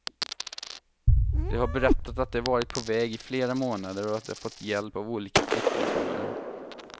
De har berättat att de varit på väg i flera månader och att de fått hjälp av olika flyktingsmugglare.